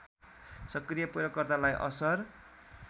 सक्रिय प्रयोगकर्तालाई असर